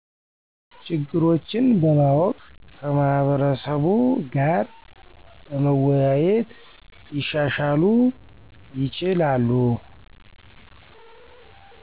ችግሮች በማወቅ ከማህበረሰቡ ጋር በመወያየት ሊሻሻሉ ይችላሉ።